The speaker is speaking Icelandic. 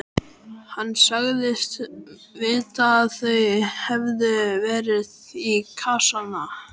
Hann sagðist vita að þau hefðu farið í kassana.